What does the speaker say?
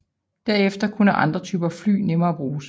Derefter kunne andre typer fly nemmere bruges